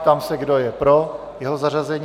Ptám se, kdo je pro jeho zařazení.